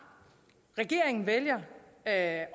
regeringen vælger at